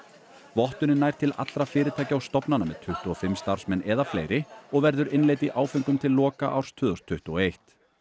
vottunin nær til allra fyrirtækja og stofnana með tuttugu og fimm starfsmenn eða fleiri og verður innleidd í áföngum til loka árs tvö þúsund tuttugu og eitt